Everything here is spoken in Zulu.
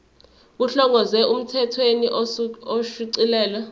kuhlongozwe emthethweni osuchithiwe